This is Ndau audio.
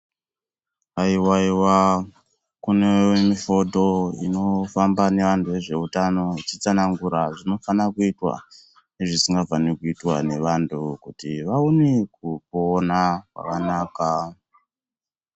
Haiwaiwa, kune mifoto inofamba neaanthu vezveutano ichitsanangura zvinofana kuitwa nezvisingafani kuitwa nevanthu kuti vaone kupona zvakanaka.